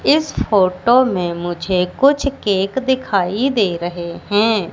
इस फोटो में मुझे कुछ केक दिखाई दे रहे हैं।